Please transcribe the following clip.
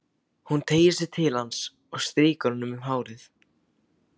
Hún teygir sig til hans og strýkur honum um hárið.